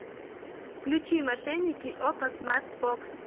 включи мошенники окко смарт бокс